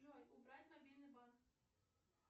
джой убрать мобильный банк